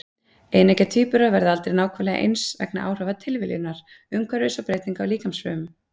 Eineggja tvíburar verða aldrei nákvæmlega eins vegna áhrifa tilviljunar, umhverfis og breytinga á líkamsfrumum.